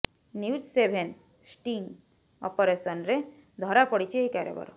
news seven sting ଅପରେସନରେ ଧରା ପଡିଛି ଏହି କାରବାର